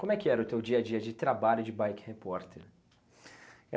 Como é que era o teu dia a dia de trabalho de bike repórter?